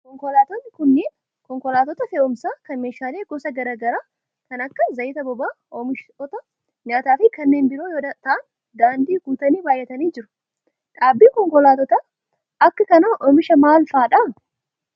Konkolaattonni kunneen, konkolaattota fe'uumsaa kan meeshaalee gosa gara garaa kan akka: zayita boba'aa, oomishoota nyaataa fi kanneen biroo yoo ta'an, daandii guutanii baay'atanii jiru. Dhaabbanni konkolaattota akka kanaa oomishan maal faa dha?